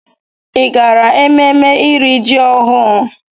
Ị gara ememme iri ji ọhụrụ?